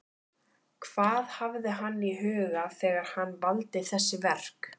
Hvað hafði hann í huga þegar hann valdi þessi verk?